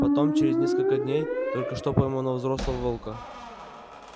потом через несколько дней только что пойманного взрослого волка